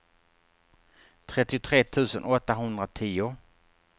trettiotre tusen åttahundratio